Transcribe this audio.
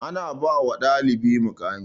Ana ba wa ɗalibari muƙami